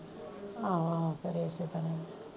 ਆਹੋ ਆਹੋ ਕਰੇ ਇਸੇ ਤਰ੍ਹਾਂ ਈ